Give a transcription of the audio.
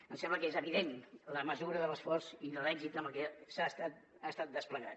em sembla que és evident la mesura de l’esforç i de l’èxit amb el que ha estat desplegat